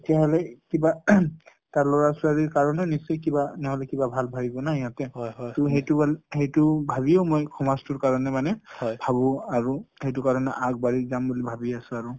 তেতিয়াহলে কিবা তাৰ লৰা ছোৱালীৰ কাৰণে নিশ্চয় কিবা নহয় কিবা ভাল ভাবিব নহয় সিহঁতে । টো সেইটো সেইটো ভাবিও মই সমাজ টোৰ কাৰণে মানে ভাবো আৰু সেইটো কাৰণে আগবাঢ়ি যাম বুলি ভাবি আছোঁ আৰু।